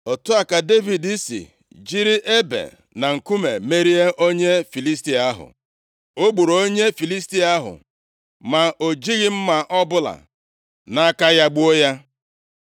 Otu a ka Devid si jiri ebe na nkume merie onye Filistia ahụ. O gburu onye Filistia ahụ ma o jighị mma ọbụla nʼaka ya gbuo ya.